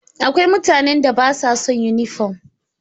Akwai mutanen da ba sa son yunifom.